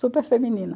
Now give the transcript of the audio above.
Super feminina.